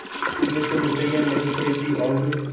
मैंने तो मिठाई नहीं खरीदी और